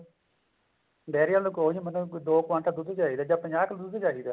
diary ਆਲੇ ਨੂੰ ਕਹੋ ਮੈਨੂੰ ਦੋ ਕੁਆਂਟਲ ਦੁੱਧ ਚਾਹੀਦਾ ਜਾਂ ਪੰਜਾਹ ਕਿੱਲੋ ਦੁੱਧ ਚਾਹੀਦਾ